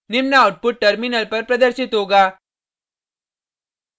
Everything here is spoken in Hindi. निम्न आउटपुट टर्मिनल पर प्रदर्शित होगा